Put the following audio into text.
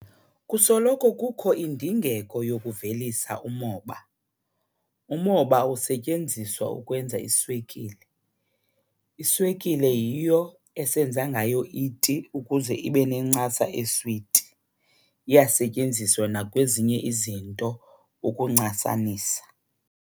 Kusoloko kukho indingeko yokuvelisa umoba. Umoba usetyenziswa ukwenza iswekile. Iswekile yiyo esenza ngayo iti ukuze ibe nencasa eswiti, iyasetyenziswa nakwezinye izinto ukuncasanisa.